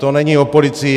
To není o policii.